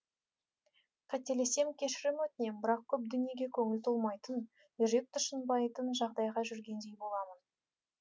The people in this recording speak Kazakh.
қателессем кешірім өтінем бірақ көп дүниеге көңіл толмайтын жүрек тұшынбайтын жағдайда жүргендей боламын